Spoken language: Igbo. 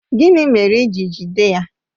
Gịnị mere i ji jide ya?